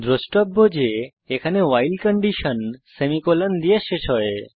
দ্রষ্টব্য যে এখানে ভাইল কন্ডিশন সেমিকোলন দিয়ে শেষ হয়